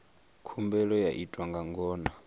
khumbelo yo itwa nga ngona